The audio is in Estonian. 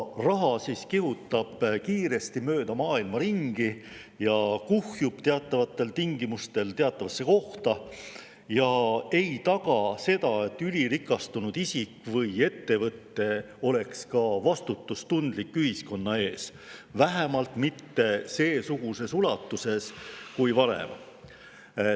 Siis kihutab raha mööda maailma ringi, kuhjub teatavatel tingimustel teatavasse kohta ja ei taga seda, et ülirikastunud isik või ettevõte tunneks ka vastutust ühiskonna ees, vähemalt mitte seesuguses ulatuses kui varem.